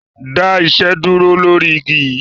Dá iṣẹ́ dúró lọ̀rí igi yi!